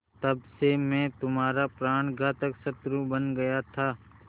तब से मैं तुम्हारा प्राणघातक शत्रु बन गया था